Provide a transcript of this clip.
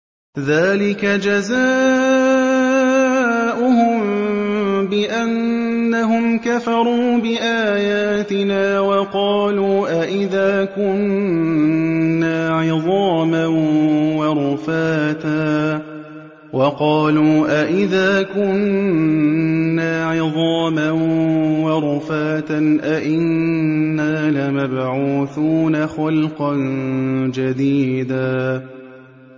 ذَٰلِكَ جَزَاؤُهُم بِأَنَّهُمْ كَفَرُوا بِآيَاتِنَا وَقَالُوا أَإِذَا كُنَّا عِظَامًا وَرُفَاتًا أَإِنَّا لَمَبْعُوثُونَ خَلْقًا جَدِيدًا